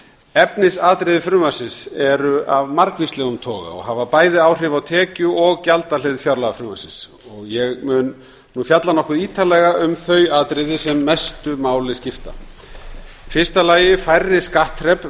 efnisatriði frumvarpsins eru af margvíslegum toga og hafa bæði áhrif á tekju og gjaldahlið fjárlagafrumvarpsins ég mun nú fjalla nokkuð ítarlega um þau atriði sem mestu máli skipta í fyrsta lagi eru færri skattþrep